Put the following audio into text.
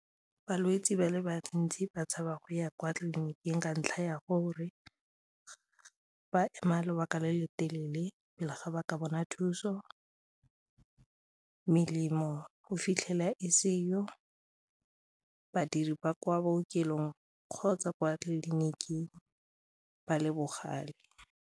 Balwetse ba le bantsi ba tshaba go ya kwa tleliniking ka ntlha ya gore ba ema lobaka le le telele pele ga ba ka bona thuso, melemo o fitlhela e seyo, badiri ba kwa bookelong kgotsa kwa tleliniking ba le bogale.